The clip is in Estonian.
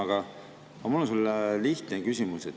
Aga mul on sulle lihtne küsimus.